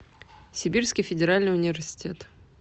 сибирский федеральный университет